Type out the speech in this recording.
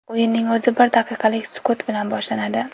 O‘yinning o‘zi bir daqiqalik sukut bilan boshlanadi.